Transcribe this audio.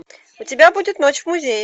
у тебя будет ночь в музее